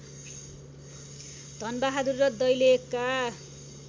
धनबहादुर र दैलेखका